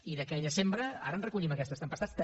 i d’aquella sembra ara en recollim aquestes tempestats també